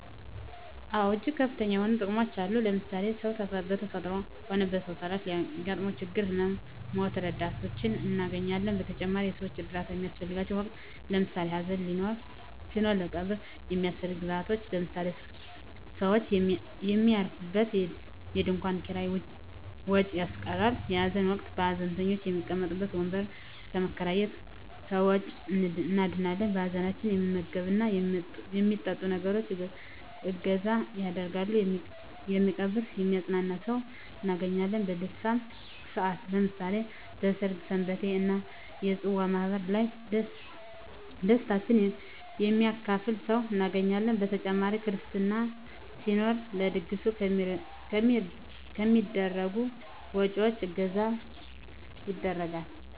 አወ እጅግ ከፍተኛ የሆኑ ጥቅሞች አሉት ለምሳሌ ሰው በተፈጥሮም ሆነ በሰው ሰራሽ ለሚያገጥመው ችግሮች ህመመ ሞች ረዳቶችን እናገኛለን በተጨማሪም የሰወች እርዳታ በሚያሰፈልገን ወቅት ለምሳሌ ሀዘን ሲኖር ለቀብር የሚያሰፈልጉ ግብአቶች ለምሳሌ ሰውች የሚያርፉበት የድንኮን ኪራይ ወጭ ያስቀራል በሀዘን ወቅት ሀዘንተኞች የሚቀመጡበት ወንበር ከመከራየት ከወጭ እንድናለን ሀዘንተኞች የሚመገብት እና የሚጠጡትን ነገሮች እገዛ ያደርጋሉ የሚቀብር የሚያጵናና ሰውን እናገኛለን በደስታም ሰአት ለምሳሌ በሰርግ ሰንበቴ እና የፅዋ ማህበራት ላይ ደስታችን የሚካፈል ሰው እናገኛለን በተጨማሪ ክርስትና ሲኖር ለድግሱ ከሚደረጉ ወጭወች እገዛ ይደረጋል።